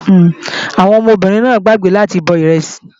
Àwọn ọmọbìnrin náà gbàgbé láti bọ ìrẹsì